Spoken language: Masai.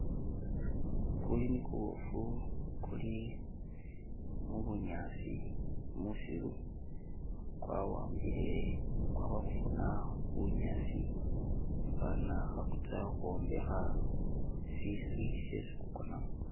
Kuyuni kubofu kuli mubunyasi musiru, kwawambile kwamakhufuna bunyasi fwana khakutsa ukhwombekha siswi shyesi kukonamo.